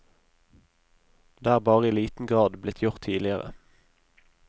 Det er bare i liten grad blitt gjort tidligere.